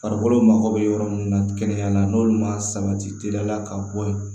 Farikolo mago bɛ yɔrɔ min na kɛnɛya na n'olu ma sabati teliya la ka bɔ ye